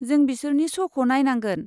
जों बिसोरनि श'खौ नायनांगोन।